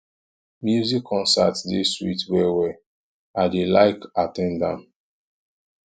music concert dey sweet wellwell i dey like at ten d am